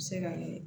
Se ka